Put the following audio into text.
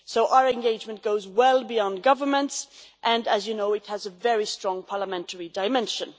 Our engagement goes well beyond governments and, as you know, it has a very strong parliamentary dimension.